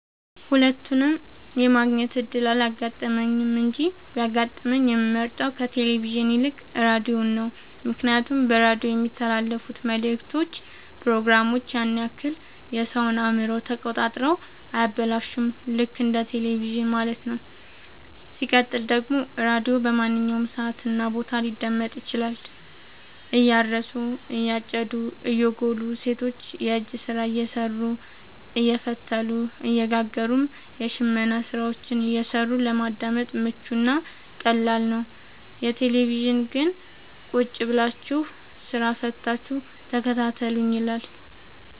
ሁለቱንም የማግኘት እድል አላጋጠመኝም እንጂ ቢያጋጥመኝ የምመርጠው ከቴሌቪዥን ይልቅ ራዲዮን ነው ምክንያቱም በራዲዮ የሚተላለፍት መልክቶች ፕሮግራሞች ያን ያክል የሰወን አእምሮ ተቆጣጥረው አያበላሹም ልክ እንደ በቴለቪዥን ማለት ነው። ሲቀጥል ደግሞ ራዲዮ በማንኛውም ሰዓት እና ቦታ ሊደመጥ ይችላል። እያረሱ የጨዱ እየጎሉ ሰቶች የእጅ ስራ እየሰሩ አየፈተሉ እየጋገሩም የሽመና ስራዎችን እየሰሩ ለማዳመጥ ምቹ እና ቀላል ነው። የቴሌቪዥን ግን ቁጭብላችሁ ስራ ፈታችሁ ተከታተሉኝ ይላል።